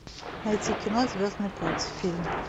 найти кино звездный путь фильм